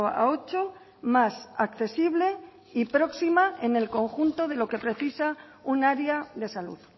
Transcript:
a ocho más accesible y próxima en el conjunto de lo que precisa un área de salud